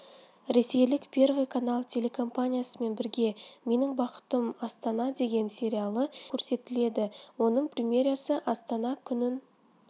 ресейлік первый канал телекомпаниясымен бірге менің бақытым астана деген сериялы телехикая көрсетеледі оның премьерасы астана күнін